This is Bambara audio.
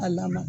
A lamaga